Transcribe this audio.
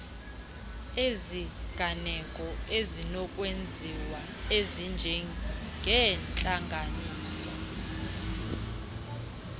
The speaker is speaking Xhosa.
iziganeko ezinokwenziwa ezinjengeentlanganiso